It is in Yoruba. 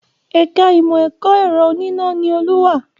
Ẹ̀ka Ìmọ̀ ẹ̀kọ́ ẹ̀rọ oníná ni Olú wà